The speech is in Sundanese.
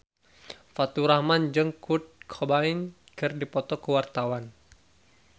Faturrahman jeung Kurt Cobain keur dipoto ku wartawan